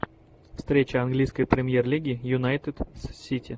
встреча английской премьер лиги юнайтед с сити